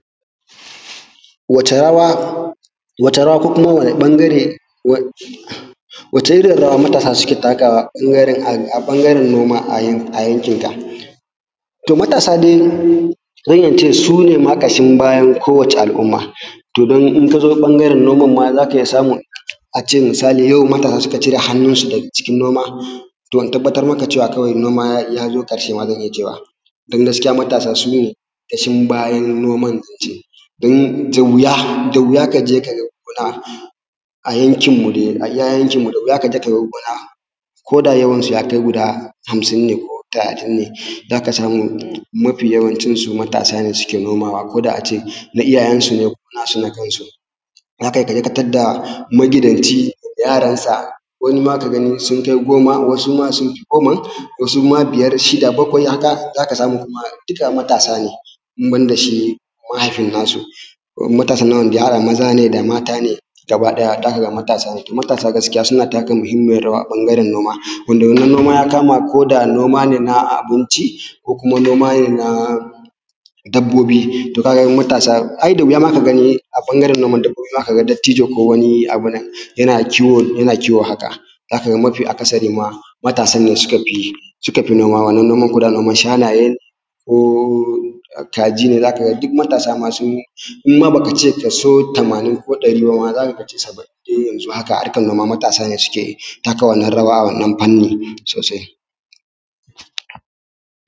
Wata rawa ko kuma wani ɓangare, wacce irin rawa matasa suke takawa a ɓangaren noma a yankin ka? to matasa dai sune ma ƙashin bayan kowacce al’umma, to nan in kazo ɓangaren noman ma zaka iya samun ace misali yau matasa suka cire hannun su daga cikin noma, to in tabbatar maka cewa noma yazo ƙarshe ma zan iya cewa, don gaskiya matasa sune ƙashin bayan noman ince. Don da wuya kaje ka ga gona a yankin mu dai, a iya yankin mu dai koda yawanshi yakai guda hamsin ne ko talatin ne, zaka samu mafi yawancin su maasa ne suke noma, koda ace na iyayen su ne ko nasu na kan su, zakai ka tarda magidanci da yaran sa, wani ma ka ga sun kai goma, wasu ma sun fi goman, wasu ma biyar, shida, bakwai haka, zaka samu ma dukka matasa ne, ban da shi mahaifin nasu kuma matasan nan wanda ya haɗa maza ne da mata ne, gaba ɗaya zaka ga matasa ne gaskiya, suna taka muhimmiyar rawa a ɓangaren noma, wanda wannan noma ya kama da koda noma ne na abinci ko kuma noma ne na dabbobi. To ka ga matasa, to ai da wuya ma ka gani a ɓangaren noman ka ga dattijo ko wani abunnan yana kiwo haka, zaka ga mafi akasari ma, matasan ne suka fi noma, noman ma koda noman shanaye ko kaji ne, zaka ga duk matasa ma sun yi in ma baka ce kaso tamanin ko ɗari bama zaka ce saba’in dai haka a harkan noma matasa ne suke yi, taka rawa a wannan fannin sosai.